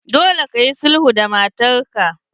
Dole kayi sulhu da matar ka!